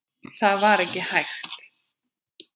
Það var ekki hægt.